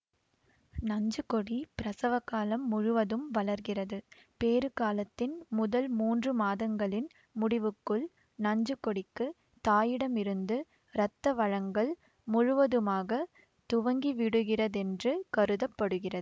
நஞ்சுக்கொடி பிரசவக்காலம் முழுவதும் வளர்கிறது பேறுகாலத்தின் முதல் மூன்றுமாதங்களின் முடிவுக்குள் நஞ்சுக்கொடிக்குத் தாயிடமிருந்து இரத்த வழங்கல் முழுவதுமாக துவங்கிவிடுகிறதென்று கருத படுகிறது